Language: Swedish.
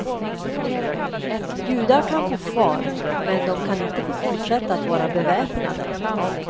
Judar kan bo kvar, men de kan inte få fortsätta att vara beväpnade.